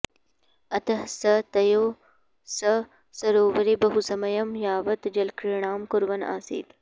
अतः सः तयोः सह सरोवरे बहुसमयं यावत् जलक्रीडां कुर्वन् आसीत्